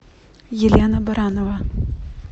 елена баранова